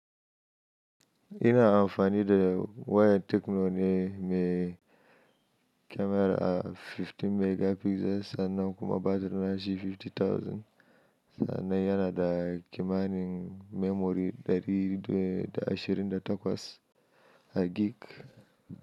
Ina amfani da wayar Tekno ne mai kyamara goma sha biyar megapixels sannan kuma batiri nashi dubu hamsin sannan yana da kimanin memory ɗari da ashirin da takwas gik.